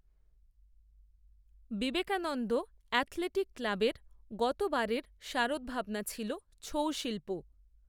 Vivekananda athletic ক্লাবের গত বারের শারদভাবনা ছিল, ছৌ শিল্প